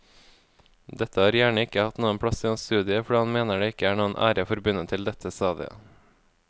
Dette har gjerne ikke hatt noen plass i hans studie fordi han mener det ikke er noen ære forbundet til dette stadiet.